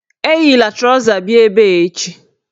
Eyila trọza bịa ebe echi!